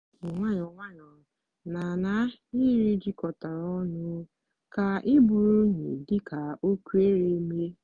wepu nwayọọ nwayọọ na n'ahịrị jikọtara ọnụ ka iburu unyi dị ka o kwere mee.